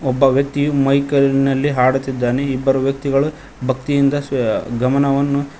ಒಬ್ಬ ವ್ಯಕ್ತಿ ಮೈಕ್ ಅಲಿ ನಲ್ಲಿ ಆಡುತ್ತಿದ್ದಾನೆ ಇಬ್ಬರು ವ್ಯಕ್ತಿಗಳು ಭಕ್ತಿಯಿಂದ ಸೇ ಗಮನವನ್ನು --